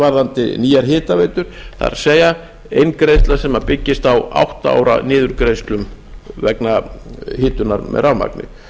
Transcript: varðandi nýjar hitaveitur það er inngreiðsur sem byggjast á átta ára niðurgreiðslum vegna hitunar með rafmagni